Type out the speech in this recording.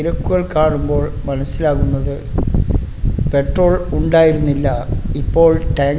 ലുക്കുകൾ കാണുമ്പോൾ മനസിലാവുന്നത് പെട്രോൾ ഉണ്ടായിരുന്നില്ല ഇപ്പൊൾ ടങ്ക്--